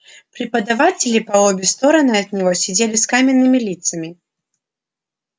преподаватели по обе стороны от него сидели с каменными лицами